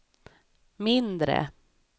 mindre